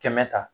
Kɛmɛ ta